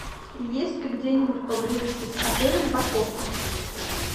есть ли где нибудь поблизости с отелем парковка